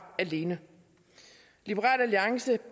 alene liberal alliance